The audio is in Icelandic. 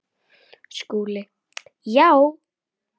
SKÚLI: Já!